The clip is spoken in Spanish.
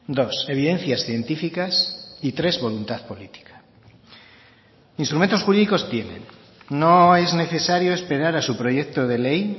dos evidencias científicas y tres voluntad política instrumentos jurídicos tienen no es necesario esperar a su proyecto de ley